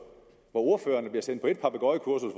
ordførerne bliver sendt på et papegøjekursus